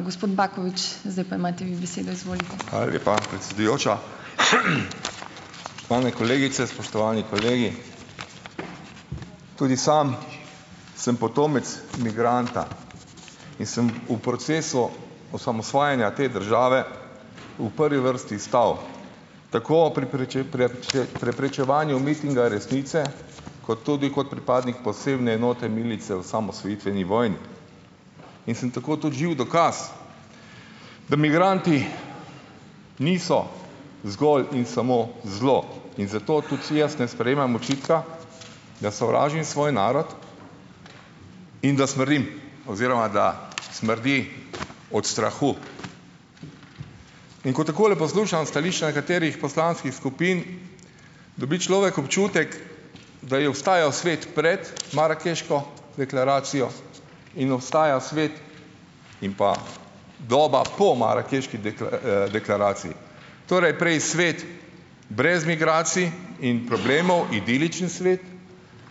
Hvala lepa, predsedujoča. Spoštovane kolegice, spoštovani kolegi! Tudi sam sem potomec migranta in sem v procesu osamosvajanja te države v prvi vrsti stal tako pri preprečevanju mitinga resnice kot tudi kot pripadnik posebne enote milice v osamosvojitveni vojni. In sem tako tudi živ dokaz, da migranti niso zgolj in samo zlo. In zato tudi jaz ne sprejemam očitka, da sovražim svoj narod in da smrdim oziroma da smrdi od strahu. In ko takole poslušam stališča nekaterih poslanskih skupin, dobi človek občutek, da je obstajal svet pred marakeško deklaracijo in obstaja svet in pa doba po marakeški deklaraciji, torej, prej svet brez migracij in problemov, idiličen svet,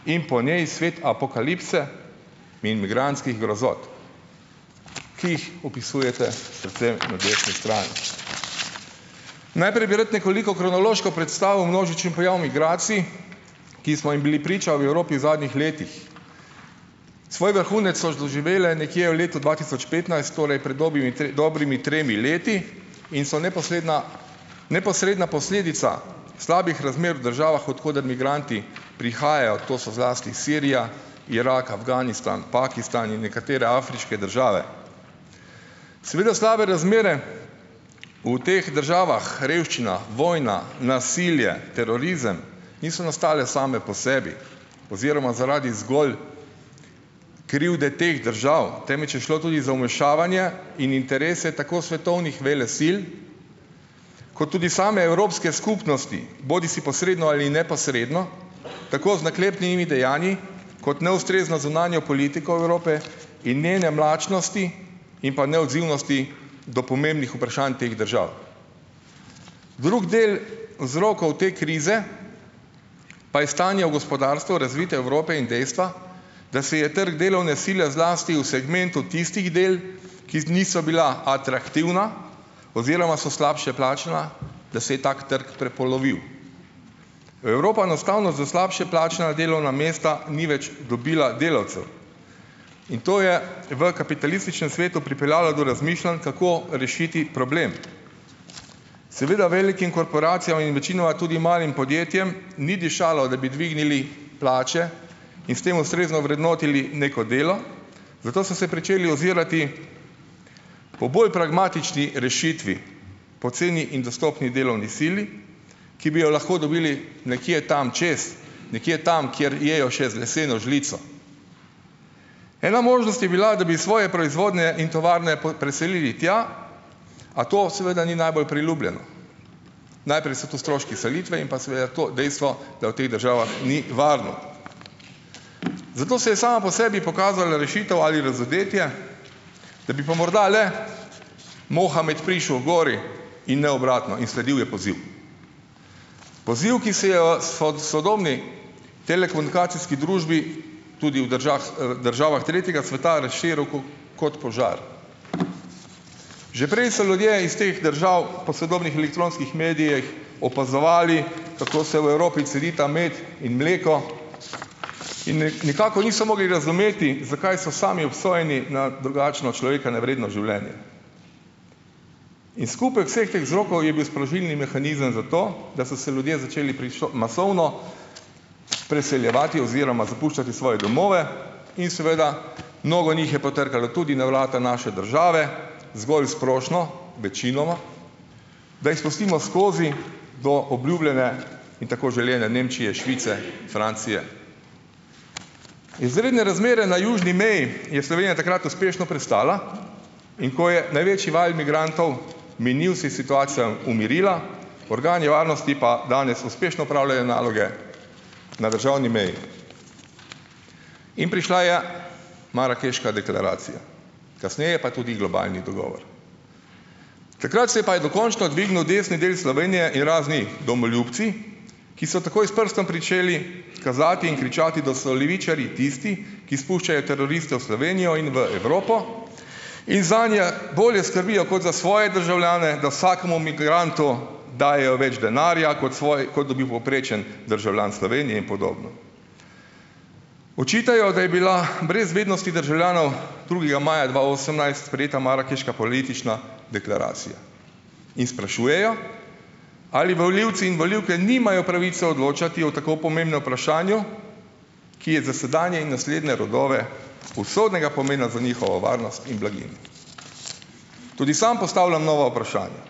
in po njej svet apokalipse in migrantskih grozot, ki jih opisujete predvsem na desni strani. Najprej bi rad nekoliko kronološko predstavil množičen pojav migracij, ki smo jim bili priča v Evropi v zadnjih letih. Svoj vrhunec so doživele nekje v letu dva tisoč petnajst, torej pred dobrimi dobrimi tremi leti, in so neposredna neposredna posledica slabih razmer v državah, od koder migranti prihajajo, to so zlasti Sirija, Irak, Afganistan, Pakistan in nekatere afriške države. Seveda slabe razmere v teh državah, revščina, vojna, nasilje, terorizem, niso nastale same po sebi oziroma zaradi zgolj krivde teh držav, temveč je šlo tudi za vmešavanje in interese tako svetovnih velesil kot tudi same evropske skupnosti, bodisi posredno ali neposredno, tako z naklepnimi dejanji kot neustrezno zunanjo politiko Evrope in njene mlačnosti in pa neodzivnosti do pomembnih vprašanj teh držav. Drugi del vzrokov te krize pa je stanje v gospodarstvu razvite Evrope in dejstva, da se je trg delovne sile zlasti v segmentu tistih del, ki niso bila atraktivna oziroma so slabše plačana, da se je tako trg prepolovil. Evropa enostavno za slabše plačana delovna mesta ni več dobila delavcev in to je v kapitalističnem svetu pripeljalo do razmišljanj, kako rešiti problem. Seveda velikim korporacijam in večinoma tudi malim podjetjem ni dišalo, da bi dvignili plače in s tem ustrezno vrednotili neko delo, zato so se pričeli ozirati po bolj pragmatični rešitvi, poceni in dostopni delovni sili, ki bi jo lahko dobili nekje tam čez, nekje tam, kjer jejo še z leseno žlico. Ena možnost je bila, da bi svoje proizvodnje in tovarne preselili tja, a to seveda ni najbolj priljubljeno. Najprej so tu stroški selitve in pa seveda to dejstvo, da v teh državah ni varno. Zato se je sama po sebi pokazala rešitev ali razodetje, da bi pa morda le Mohamed prišel h gori in ne obratno in sledil je poziv. Poziv, ki se jo sodobni telekomunikacijski družbi, tudi v državah, državah tretjega sveta razširil kot požar. Že preden so ljudje iz teh držav po sodobnih elektronskih medijih opazovali, kako se v Evropi cedita med in mleko in nekako niso mogli razumeti, zakaj so sami obsojeni na drugačno človeka nevredno življenje. In skupek vseh teh vzrokov je bil sprožilni mehanizem za to, da so se ljudje začeli masovno preseljevati oziroma zapuščati svoje domove in seveda mnogo njih je potrkalo tudi na vrata naše države, zgolj s prošnjo, večinoma, da jih spustimo skozi do obljubljene in tako želene Nemčije, Švice, Francije. Izredne razmere na južni meji je Slovenija takrat uspešno prestala. In ko je največji val migrantov minil, se je situacija umirila, organi varnosti pa danes uspešno opravljajo naloge na državni meji. In prišla je marakeška deklaracija, kasneje pa tudi globalni dogovor. Takrat se je pa je dokončno dvignil desni del Slovenije in razni domoljubci, ki so takoj s prstom pričeli kazati in kričati, da so levičarji tisti, ki spuščajo teroriste v Slovenijo in v Evropo in zanje bolje skrbijo kot za svoje državljane, da vsakemu migrantu dajejo več denarja, kot kot dobi povprečen državljan Slovenije in podobno. Očitajo, da je bila brez vednosti državljanov drugega maja dva osemnajst sprejeta marakeška politična deklaracija in sprašujejo, ali volivci in volivke nimajo pravice odločati o tako pomembnem vprašanju, ki je za sedanje in naslednje rodove usodnega pomena za njihovo varnost in blaginjo. Tudi sam postavljam nova vprašanja.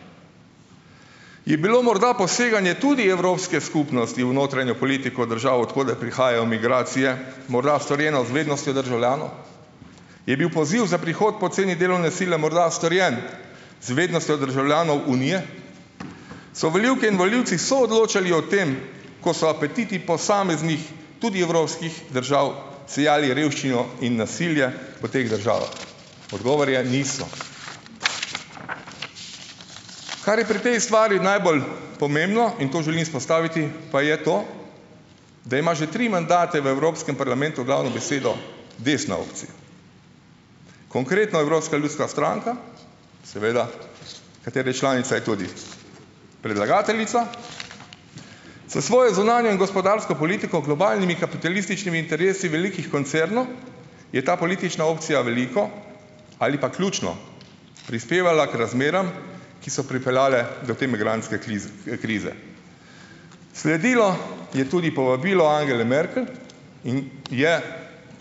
Je bilo morda poseganje tudi Evropske skupnosti v notranjo politiko držav, od koder prihajajo migracije, morda storjeno z vednostjo državljanov? Je bil poziv za prihod poceni delovne sile morda storjen z vednostjo državljanov Unije? So volivke in volivci soodločali o tem, ko so apetiti posameznih, tudi evropskih držav sejali revščino in nasilje po teh državah? Odgovor je: niso. Kar je pri tej stvari najbolj pomembno, in to želim izpostaviti, pa je to, da ima že tri mandate v Evropskem parlamentu glavno besedo desna opcija. Konkretno Evropska ljudska stranka, seveda, kateri članica je tudi predlagateljica. S svojo zunanjo in gospodarsko politiko globalnimi kapitalističnimi interesi velikih koncernov je ta politična opcija veliko ali pa ključno prispevala k razmeram, ki so pripeljale do te migrantske krize. Sledilo je tudi povabilo Angele Merkel in je,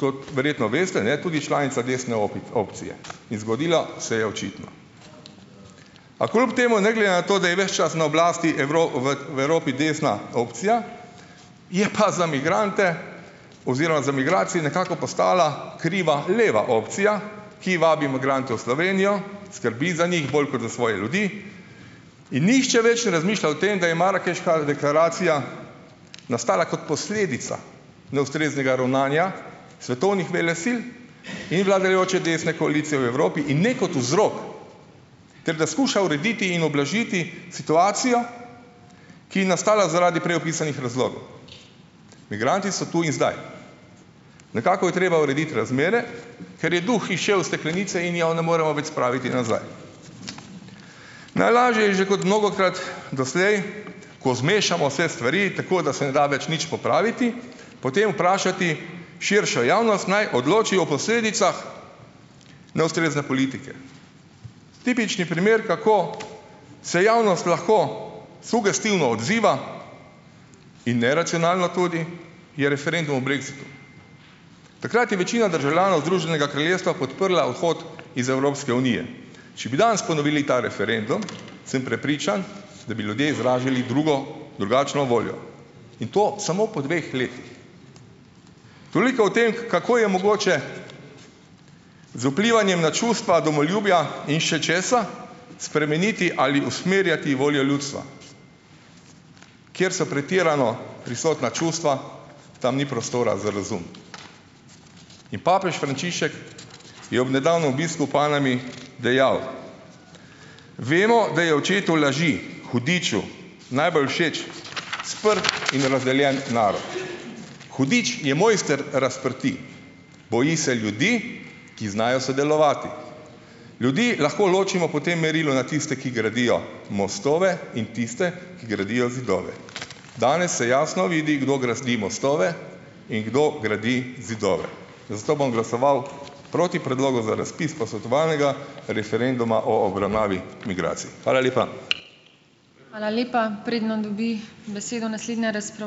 kot verjetno veste, ne, tudi članica desne opcije in zgodilo se je očitno. A kljub temu, ne glede na to, da je ves čas na oblasti v, v Evropi desna opcija, je pa za migrante oziroma za migracije nekako postala kriva leva opcija, ki vabi migrante v Slovenijo, skrbi za njih bolj kot za svoje ljudi, in nihče več ne razmišlja o tem, da je marakeška deklaracija nastala kot posledica neustreznega ravnanja svetovnih velesil in vladajoče desne koalicije v Evropi in ne kot vzrok, ter da skuša urediti in ublažiti situacijo, ki je nastala zaradi prej opisanih razlogov. Migranti so tu in zdaj. Nekako je treba urediti razmere, ker je duh izšel iz steklenice in mi ja ne moremo več spraviti nazaj. Najlažje je, že kot mnogokrat doslej, ko zmešamo vse stvari tako, da se ne da več nič popraviti, potem vprašati širšo javnost, naj odloči o posledicah neustrezne politike. Tipični primer, kako se javnost lahko sugestivno odziva, in neracionalno tudi, je referendum o brexitu. Takrat je večina državljanov Združenega kraljestva podprla odhod iz Evropske unije. Če bi danes ponovili ta referendum, sem prepričan, da bi ljudje izrazili drugo, drugačno voljo. In to samo po dveh letih. Toliko o tem, kako je mogoče z vplivanjem na čustva domoljubja in še česa, spremeniti ali usmerjati voljo ljudstva. Kjer so pretirano prisotna čustva, tam ni prostora za razum. In papež Frančišek je ob nedavnem obisku v Panami dejal: "Vemo, da je očetu laži, hudiču, najbolj všeč sprt in razdeljen narod. Hudič je mojster razprtij. Boji se ljudi, ki znajo sodelovati. Ljudi lahko ločimo po tem merilu na tiste, ki gradijo mostove in tiste, ki gradijo zidove." Danes se jasno vidi, kdo gradi mostove in kdo gradi zidove, zato bom glasoval proti predlogu za razpis posvetovalnega referenduma o obravnavi migracij. Hvala lepa.